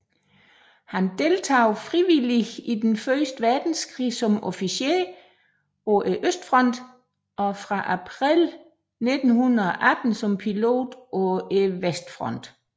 Han deltog frivilligt i Den første verdenskrig som officer på østfronten og fra april 1918 som pilot på vestfronten